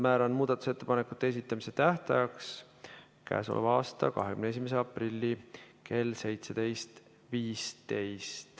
Määran muudatusettepanekute esitamise tähtajaks k.a 21. aprilli kell 17.15.